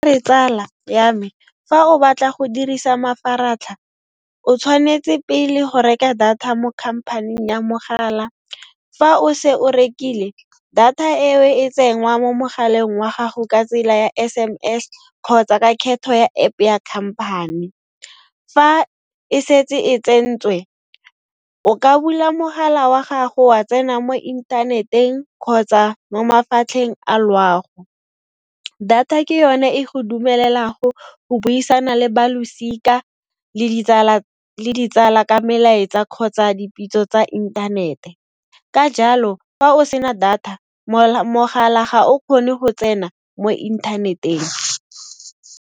Tsala ya me fa o batla go dirisa mafaratlha, o tshwanetse pele go reka data mo company-ing ya mogala. Fa o se o rekile, data e o e tsenngwa mo mogaleng wa gago ka tsela ya S_M_S kgotsa ka kgetho ya App ya company. Fa e setse e tsentswe, o ka bula mogala wa gago wa tsena mo inthaneteng kgotsa mo mafatlheng a loago. Data ke yone e go dumelelago go buisana le ba losika, le ditsala ka melaetsa kgotsa dipitso tsa inthanete. Ka jalo, fa o sena data, mogala ga o kgone go tsena mo inthaneteng.